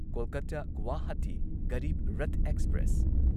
Kolkata Guwahati Garib Rath express